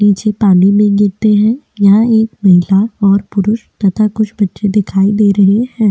नीचे पानी में गिरते है यहाँ एक महिला और पुरुष तथा कुछ बच्चे दिखाई दे रहे है।